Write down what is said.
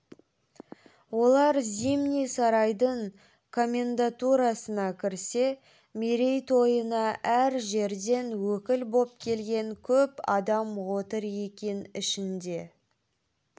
олар зимний сарайдың комендатурасына кірсе мерейтойына әр жерден өкіл боп келген көп адам отыр екен ішінде